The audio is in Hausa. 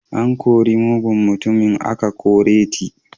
An kori mugun mutumi aka kore t